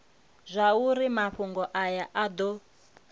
zwauri mafhungo aya a do